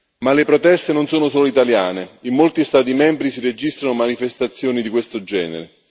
Ma le proteste non sono solo italiane in molti Stati membri si registrano manifestazioni di questo genere.